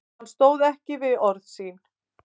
Hann stóð ekki við orð sín.